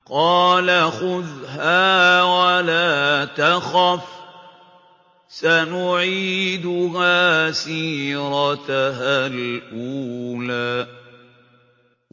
قَالَ خُذْهَا وَلَا تَخَفْ ۖ سَنُعِيدُهَا سِيرَتَهَا الْأُولَىٰ